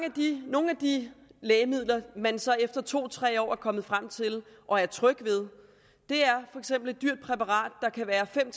nogle af de lægemidler man så efter to tre år er kommet frem til og er tryg ved er for eksempel et dyrt præparat der kan være fem